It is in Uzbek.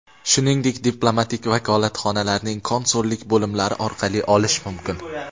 shuningdek diplomatik vakolatxonalarning konsullik bo‘limlari orqali olishi mumkin.